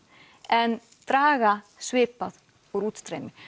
en draga svipað úr útstreymi